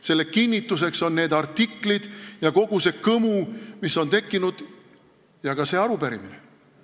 Selle kinnituseks on artiklid, kogu see kõmu, mis on tekkinud, ja ka see arupärimine.